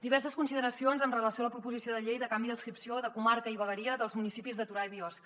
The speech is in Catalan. diverses consideracions amb relació a la proposició de llei de canvi d’adscripció de comarca i vegueria dels municipis de torà i biosca